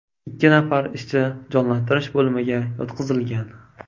Ikki nafar ishchi jonlantirish bo‘limiga yotqizilgan.